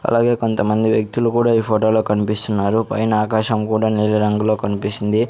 అలాగే కొంతమంది వ్యక్తులు కూడా ఈ ఫోటోలో కన్పిస్తున్నారు పైన ఆకాశం కూడా నీలి రంగులో కన్పిస్తుంది.